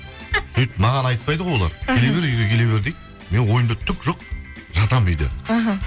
сөйтіп маған айтпайды ғой олар келе бер үйге келе бер дейді менің ойымда түк жоқ жатамын үйде іхі